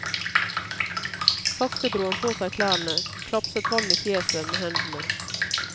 Sakte dro han på seg klærne, klapset vann i fjeset med hendene.